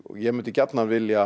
ég myndi gjarnan vilja